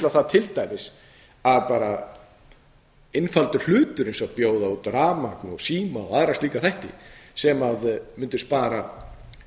það til dæmis að einfaldur hlutur eins og bjóða út rafmagn síma og aðra slíka þætti sem mundu spara